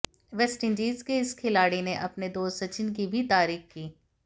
West Indies के इस खिलाड़ी ने अपने दोस्त सचिन की भी तारीख की